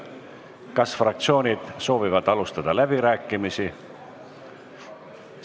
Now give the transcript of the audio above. Kas fraktsioonid soovivad alustada läbirääkimisi?